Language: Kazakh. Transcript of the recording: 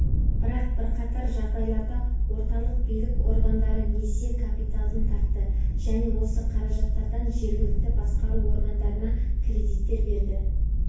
бірақ бірқатар жағдайларда орталық билік органдары несие капиталын тартты және осы қаражаттардан жергілікті басқару органдарына кредиттер берді